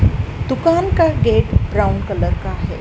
दुकान का gate brown colour का है।